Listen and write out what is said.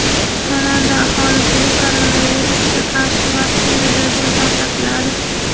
Kanada aholisiga koronavirusga qarshi vaksina bepul tarqatiladi.